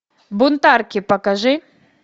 бунтарки покажи